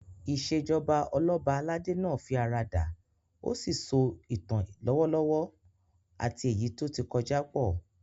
Ìṣèjoba Ọlọ́ba aládé náà fi ara dà, ó sì so ìtàn lọ́wọ́lọ́wọ́ àti èyí tó ti kọjá pọ̀